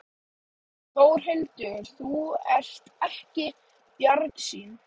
Þórhildur: Þú ert ekki bjartsýnn?